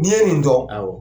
N'i ye nin don, awɔ.